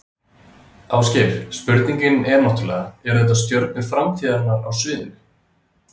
Ásgeir, spurningin er náttúrulega, eru þetta stjörnur framtíðarinnar á sviðinu?